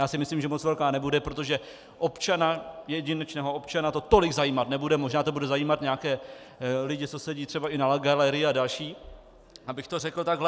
Já si myslím, že moc velká nebude, protože občana, jedinečného občana to tolik zajímat nebude, možná to bude zajímat nějaké lidi, co sedí třeba i na galerii, a další, abych to řekl takhle.